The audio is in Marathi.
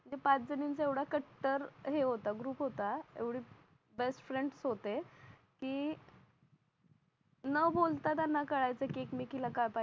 आमचा पाच जणींचा एवढा कट्टर हे होता ग्रुप होता एवढे बेस्टफ्रेंड्स होते की न बोलता त्यांना कळायचं की एकमेकीला काय